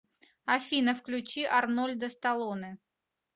афина включи арнольда сталоне